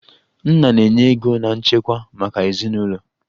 Nna na-enye ego na nchekwa maka ezinụlọ